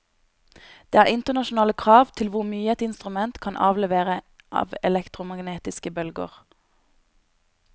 Det er internasjonale krav til hvor mye et instrument kan avlevere av elektromagnetiske bølger.